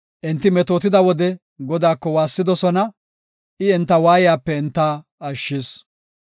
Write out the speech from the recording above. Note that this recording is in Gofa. Enti metootida wode, Godaako waassidosona; I enta waayiyape enta ashshis.